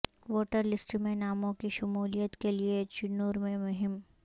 voter list میں ناموں کی شمولیت کے لئے چنور میں مہم